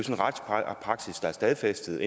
en retspraksis der er stadfæstet